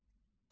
Əy.